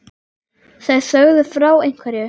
Þær sögðu frá ein- hverju.